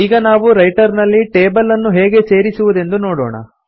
ಈಗ ನಾವು ರೈಟರ್ ನಲ್ಲಿ ಟೇಬಲ್ ಅನ್ನು ಹೇಗೆ ಸೇರಿಸುವುದೆಂದು ನೋಡೋಣ